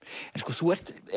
þú ert